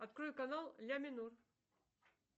открой канал ля минор